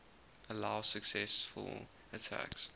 allow successful attacks